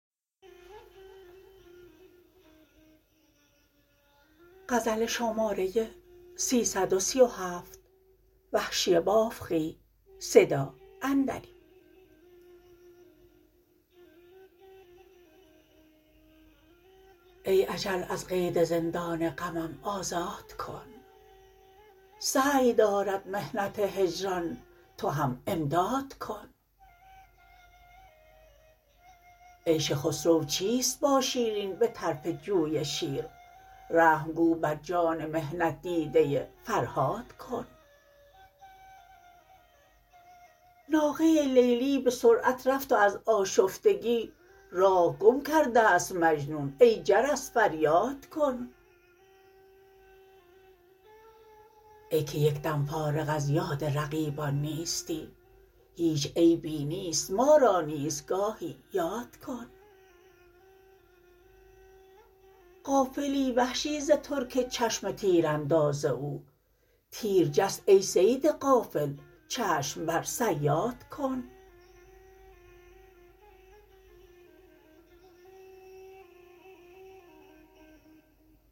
ای اجل از قید زندان غمم آزاد کن سعی دارد محنت هجران تو هم امداد کن عیش خسرو چیست با شیرین به طرف جوی شیر رحم گو بر جان محنت دیده فرهاد کن ناقه لیلی به سرعت رفت و از آشفتگی راه گم کردست مجنون ای جرس فریاد کن ای که یک دم فارغ از یاد رقیبان نیستی هیچ عیبی نیست ما را نیز گاهی یاد کن غافلی وحشی ز ترک چشم تیر انداز او تیر جست ای صید غافل چشم بر صیاد کن